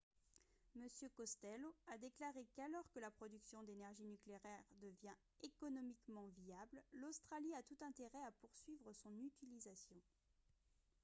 m costello a déclaré qu'alors que la production d'énergie nucléaire devient économiquement viable l'australie a tout intérêt à poursuivre son utilisation